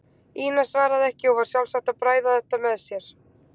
Ína svaraði ekki og var sjálfsagt að bræða þetta með sér.